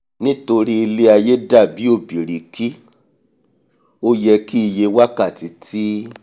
nítorí ilé-aiyé dàbí ọ̀bìrìkì o yẹ́ kí iye wákàtí tí